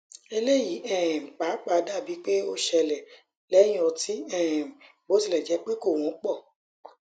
eleyi um papa dabi pe o sele lehin oti um bi ot ile je pe ko wonpo